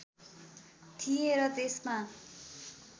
थिएँ र त्यसमा